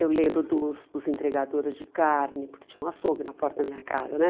Eu lembro dos dos entregadores de carne, porque tinha um açougue na porta da minha casa, né?